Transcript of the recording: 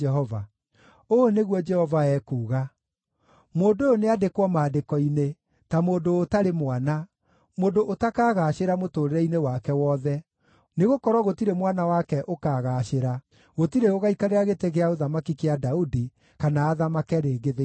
Ũũ nĩguo Jehova ekuuga: “Mũndũ ũyũ nĩandĩkwo maandĩko-inĩ, ta mũndũ ũtarĩ mwana, mũndũ ũtakagaacĩra mũtũũrĩre-inĩ wake wothe, nĩgũkorwo gũtirĩ mwana wake ũkaagaacĩra, gũtirĩ ũgaikarĩra gĩtĩ gĩa ũthamaki kĩa Daudi kana athamake rĩngĩ thĩinĩ wa Juda.”